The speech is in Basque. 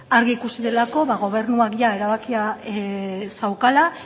argi ikusi delako ba gobernuak jada erabakia zeukala